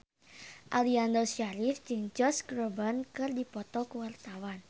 Aliando Syarif jeung Josh Groban keur dipoto ku wartawan